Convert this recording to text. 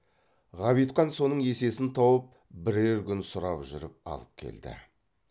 ғабитхан соның есесін тауып бірер күн сұрап жүріп алып келді